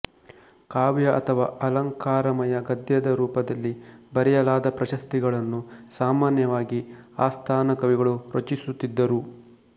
ಕಾವ್ಯ ಅಥವಾ ಅಲಂಕಾರಮಯ ಗದ್ಯದ ರೂಪದಲ್ಲಿ ಬರೆಯಲಾದ ಪ್ರಶಸ್ತಿಗಳನ್ನು ಸಾಮಾನ್ಯವಾಗಿ ಆಸ್ಥಾನ ಕವಿಗಳು ರಚಿಸುತ್ತಿದ್ದರು